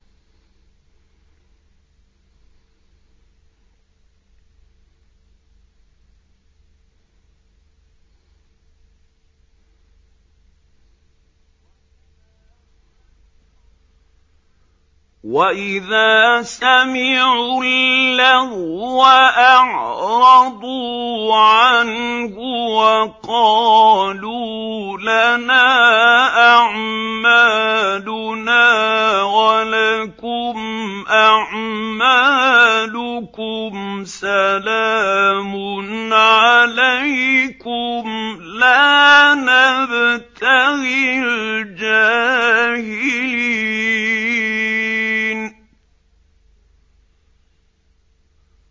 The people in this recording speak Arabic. وَإِذَا سَمِعُوا اللَّغْوَ أَعْرَضُوا عَنْهُ وَقَالُوا لَنَا أَعْمَالُنَا وَلَكُمْ أَعْمَالُكُمْ سَلَامٌ عَلَيْكُمْ لَا نَبْتَغِي الْجَاهِلِينَ